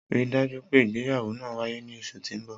Rii daju pe ìgbéyáwọ́ naa waye ni oṣu ti n bọ.